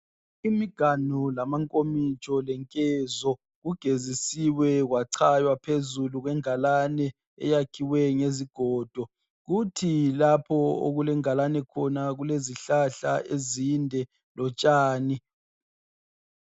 Imiganu lamankomitsho lenkezo. Kugezisiwe kwachaywa phezulu kwengalane, eyakhiwe ngezigodo. Kuthi lapho okulengalane khona, kulezihlahla ezinde, lotshani.